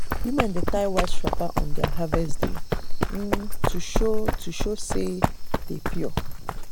women dey tie white wrapper on their harvest um day to show to show say dem dey pure.